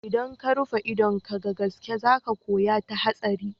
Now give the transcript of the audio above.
Idan ka rufe idon ka ga gaske za ka koya ta hatsari.